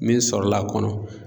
Min sɔrɔla a kɔnɔ